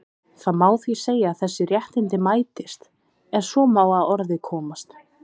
Það má því segja að þessi réttindi mætist, ef svo má að orði komast.